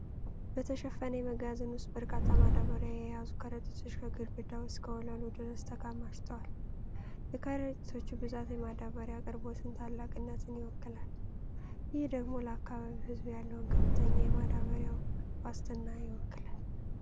በተሸፈነ የመጋዘን ውስጥ በርካታ ማዳበሪያ የያዙ ከረጢቶች ከግድግዳው እስከ ወለሉ ድረስ ተከማችተዋል። የከረጢቶቹ ብዛት የማዳበሪያ አቅርቦትን ታላቅነት ይወክላል። ይህ ደግሞ ለአካባቢው ሕዝብ ያለውን ከፍተኛ የማዳበሪያ ዋስትና ይወክላል።